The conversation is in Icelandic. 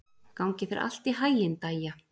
Gangi þér allt í haginn, Dæja.